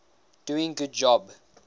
doing good job